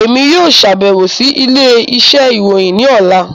Emi yoo ṣabẹwo si ile-iṣẹ irohin ni ọla.